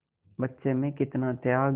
बच्चे में कितना त्याग